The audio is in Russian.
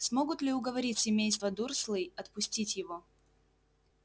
смогут ли уговорить семейство дурслей отпустить его